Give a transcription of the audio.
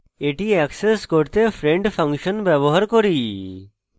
এটি অ্যাক্সেস করতে friend function ব্যবহার করি